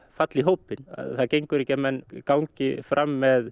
falla í hópinn það gengur ekki að menn gangi fram með